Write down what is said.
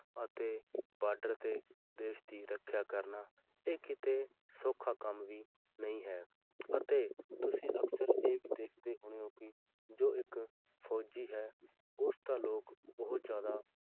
ਅਤੇ border ਤੇ ਦੇਸ ਦੀ ਰੱਖਿਆ ਕਰਨਾ ਇਹ ਕਿਤੇ ਸੌਖਾ ਕੰਮ ਵੀ ਨਹੀਂ ਹੈ ਅਤੇ ਤੁਸੀਂ ਅਕਸਰ ਇਹ ਦੇਖਦੇ ਹੀ ਹੋਣੇ ਹੋ ਕਿ ਜੋ ਇੱਕ ਫ਼ੌਜੀ ਹੈ ਉਸਦਾ ਲੋਕ ਬਹੁਤ ਜ਼ਿਆਦਾ